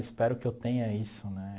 Espero que eu tenha isso, né?